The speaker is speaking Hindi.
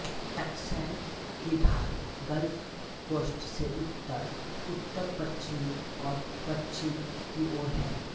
टक्सैस की ढाल गल्फ कोस्ट से उत्तर उत्तरपश्चिम और पश्चिम की ओर है